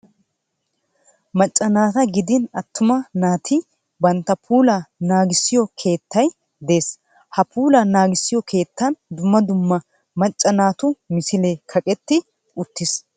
Macca naata gidin attuma naati bantta puulaa naagissiyo keettay de'ees. Ha puulaa naagissiyo keettan dumma dumma macca naatu misilee kaqetti uttiis.